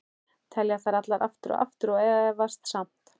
Telja þær allar, aftur og aftur- og efast samt.